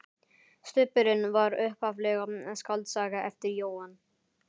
Stubburinn var upphaflega skáldsaga eftir Jóhann